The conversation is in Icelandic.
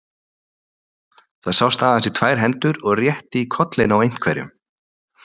Það sást aðeins í tvær hendur og rétt í kollinn á einhverjum.